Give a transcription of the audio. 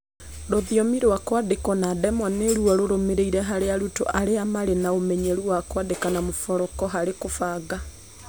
Rũthiomi rwa kwandĩkwo na ndemwa nĩruo rũrũmĩrĩire harĩ arutwo arĩa marĩ na ũmenyeru wa kwandĩka na mburoko harĩ kũbanga